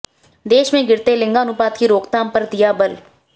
देश में गिरते लिंगानुपात की रोकथाम पर दिया बल